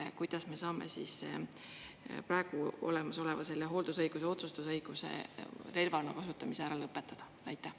Ehk kuidas me saame selle praegu olemasoleva hooldusõiguse otsustusõiguse relvana kasutamise ära lõpetada?